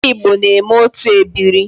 Ndi Igbo na-eme otu ebiri